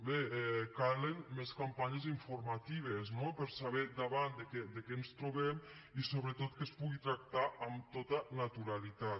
bé calen més campanyes informatives no per saber davant de què ens trobem i sobretot que es pugui tractar amb tota naturalitat